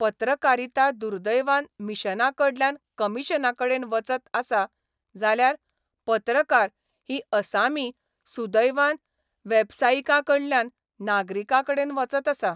पत्रकारिता दुर्दैवान मिशनाकडल्यान कमिशनाकडेन वचत आसा जाल्यार पत्रकार ही असामी सुदैवान वेबसायिकाकडल्यान नागरिकाकडेन वचत आसा.